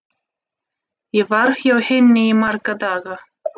Ég var hjá henni í marga daga.